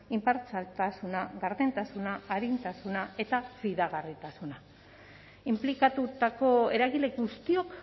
inpartzialtasuna gardentasuna arintasuna eta fidagarritasuna inplikatutako eragile guztiok